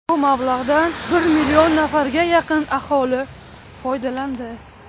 Bu mablag‘dan bir million nafarga yaqin aholi foydalandi.